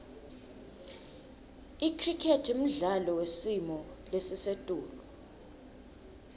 icricket mdlalo wesimolesisetulu